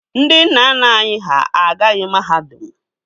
Ndị nna nna anyị ha agaghị mahadum